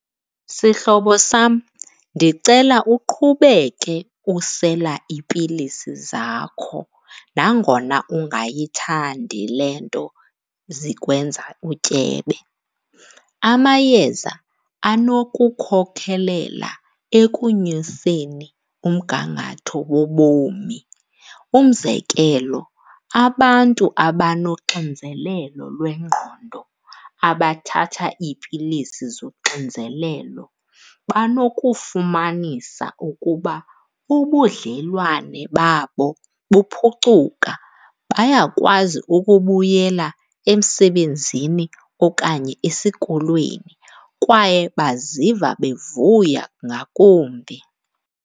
Sihlobo sam, ndicela uqhubeke usela iipilisi zakho nangona ungayithandi le nto zikwenza utyebe. Amayeza anokukhokelela ekonyuseni umgangatho wobomi. Umzekelo abantu abanoxinzelelo lwengqondo abathatha iipilisi zoxinzelelo banokufumanisa ukuba ubudlelwane babo buphucuka, bayakwazi ukubuyela emsebenzini okanye esikolweni kwaye baziva bevuya ngakumbi.